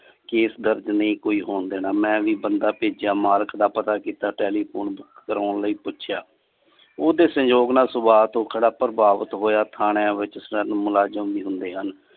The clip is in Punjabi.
case ਦਰਜ ਨਈਂ ਕੋਈ ਹੋਣ ਦੇਣਾ ਮੈਂ ਵੀ ਬੰਦਾ ਪੇਜਿਆ ਮਾਲਕ ਦਾ ਪਤਾ ਕੀਤਾ telephone ਬੁੱਕ ਕਰਵਾਓਣ ਲਾਇ ਪੁੱਛਿਆ। ਓਦੇ ਸਹਿਯੋਗ ਨਾਲ ਸੁਬਾਹ ਤੋਂ ਬੜਾ ਪ੍ਰਵਾਵਿਤ ਹੋਇਆ ਥਾਣਿਆਂ ਵਿਚ ਸਿਰਫ ਮੁਲਾਜਮ ਵੀ ਹੁੰਦੇ ਹਨ।